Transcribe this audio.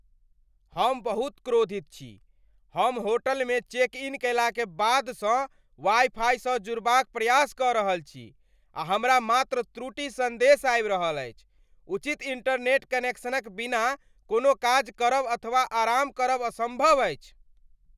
हम बहुत क्रोधित छी! हम होटलमे चेक इन कयलाक बादसँ वाइ फाइसँ जुड़बाक प्रयास कऽ रहल छी आ हमरा मात्र त्रुटि सन्देश आबि रहल अछि। उचित इंटरनेट कनेक्शनक बिना कोनो काज करब अथवा आराम करब असम्भव अछि।